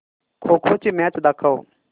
खो खो ची मॅच दाखव